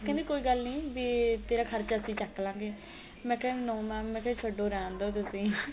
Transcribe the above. ਕਹਿੰਦੇ ਕੋਈ ਗੱਲ ਨੀ ਵੀ ਤੇਰ੍ਹਾ ਖ਼ਰਚਾ ਅਸੀਂ ਚਕ ਲਾ ਗੇ ਮੇਈ ਕਿਆ no mam ਛਦੋ ਰਹਿਣ ਦੋ ਤੁਸੀਂ